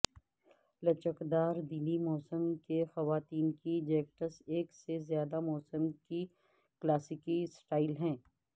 لچکدار دلی موسم کے خواتین کی جیکٹس ایک سے زیادہ موسم کی کلاسیکی سٹائل ہیں